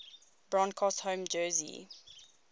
broncos home jersey